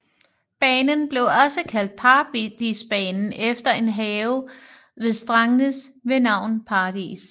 Banen blev også kaldt Paradisbanen efter en have ved Stangnes ved navn Paradis